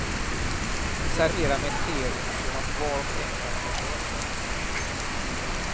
Servera med sked så att var och en kan ta för sig.